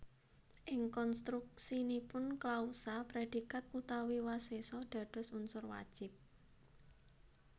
Ing konstruksinipun klausa predikat utawi wasesa dados unsur wajib